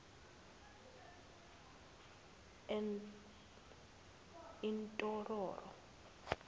entororo